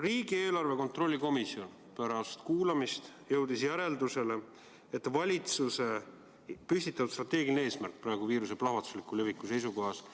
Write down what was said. Riigieelarve kontrolli erikomisjon jõudis pärast kuulamist järeldusele, et valitsuse püstitatud strateegiline eesmärk on viiruse plahvatusliku leviku ajal ebapiisav.